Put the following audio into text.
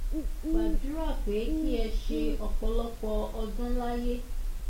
mo gbàdúrà pé kí ẹ ṣe ọ̀pọ̀lọpọ̀ ọdún láyé